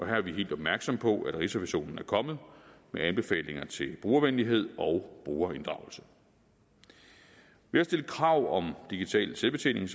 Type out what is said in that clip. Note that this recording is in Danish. her er vi helt opmærksomme på at rigsrevisionen er kommet med anbefalinger til brugervenlighed og brugerinddragelse ved at stille krav om digital selvbetjening